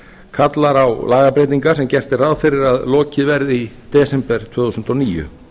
kallar á lagabreytingar sem gert er ráð fyrir að lokið verði í desember tvö þúsund og níu